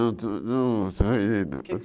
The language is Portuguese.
Não não